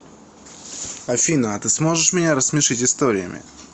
афина а ты сможешь меня рассмешить историями